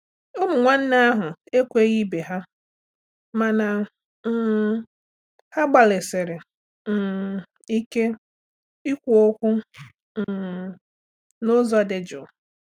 Ụmụ nwanne ahụ ekweghị ibe ha mana um ha gbalịsịrị um ike ikwu okwu um n’ụzọ dị jụụ.